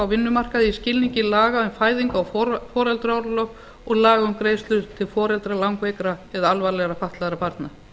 vinnumarkaði í skilningi laga um fæðingar og foreldraorlof og laga um greiðslu til foreldra langveikra eða alvarlegra fatlaðra barna